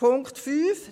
Punkt 5